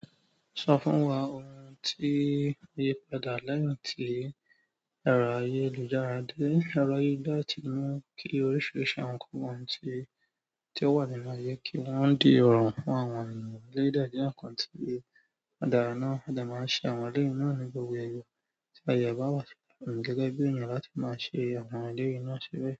Sọ fún wa ohun tí o yi padà lẹ́yìn tí ẹ̀rọ ayélujára dé. Ẹ̀rọ ayélujára ti mu kí oríṣiríṣi àwọn nǹkan wọ̀n tí ó wà nínú ayé kí wọ́n di irọrun fún àwọn ènìyàn. Ẹ́lẹ̀yi dẹ́ ǹkàn tí o darà náà mo de máa ń ṣe àwọn eleyi náà ní gbogbo èèyàn tí aye e bá wà fún gẹ́gẹ́ bí èèyàn láti máa ṣe àwọn eleyi náà si bẹ́ẹ̀.